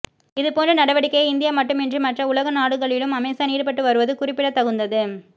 இதுபோன்ற நடவடிக்கையை இந்தியா மட்டுமின்றி மற்ற உலகநாடுகளிலும் அமேசான் ஈடுபட்டு வருவது குறிப்பிடத்தகுந்தது